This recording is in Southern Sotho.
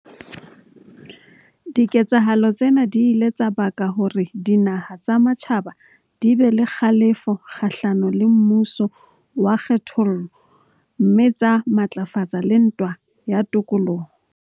Diketsahalo tsena di ile tsa baka hore dinaha tsa matjhaba di be le kgalefo kgahlano le mmuso wa kgethollo mme tsa matlafatsa le ntwa ya tokoloho.